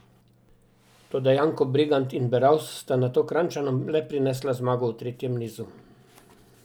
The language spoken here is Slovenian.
Toda Janko Bregant in Beravs sta nato Kranjčanom le prinesla zmago v tretjem nizu.